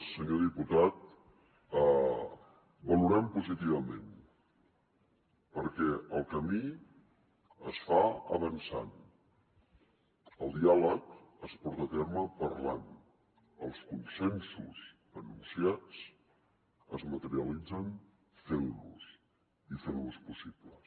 senyor diputat ho valorem positivament perquè el camí es fa avançant el diàleg es porta a terme parlant els consensos anunciats es materialitzen fent los i fent los possibles